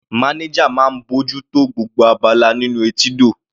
Manager máa ń bójú tó gbogbo abala nínú etídò.